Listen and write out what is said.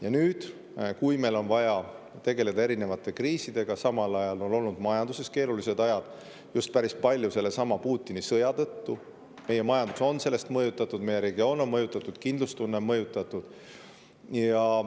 Ja nüüd, kui meil on vaja tegeleda erinevate kriisidega, on samal ajal ka majanduses keerulised ajad, just päris palju sellestsamast Putini sõjast on meie majandus, meie regioon ja kindlustunne mõjutatud.